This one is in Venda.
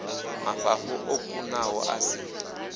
mafhafhu o kunaho a si